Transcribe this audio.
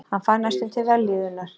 Hann fann næstum til vellíðunar.